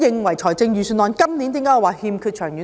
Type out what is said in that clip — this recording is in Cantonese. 為何我認為今年的預算案欠缺長遠性？